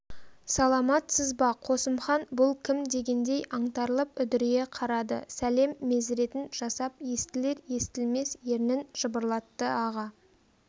саламатсыз ба қосымхан бұл кім дегендей аңтарылып үдірейе қарады сәлем мезіретін жасап естілер-естілмес ернін жыбырлатты аға